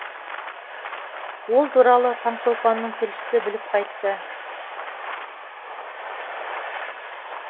ол туралы таңшолпанның тілшісі біліп қайтты